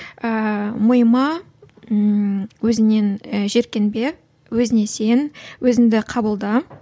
ііі мойыма ііі өзіңнен і жиіркенбе өзіңе сен өзіңді қабылда